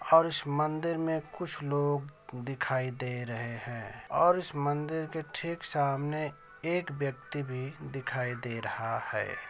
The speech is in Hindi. और इस मंदिर में कुछ लोग दिखाई दे रहे हैं और उस मंदिर के ठीक सामने एक व्यक्ति भी दिखाई दे रहा है।